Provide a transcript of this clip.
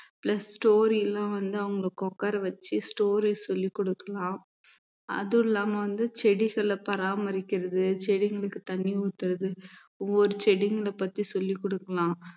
plus story எல்லாம் வந்து அவங்க உட்கார வச்சு story சொல்லிக் கொடுக்கலாம் அதுவும் இல்லாம வந்து செடிகளைப் பராமரிக்கிறது செடிங்களுக்குத் தண்ணி ஊத்துறது ஒவ்வொரு செடிங்களைப் பத்தி சொல்லிக் குடுக்கலாம்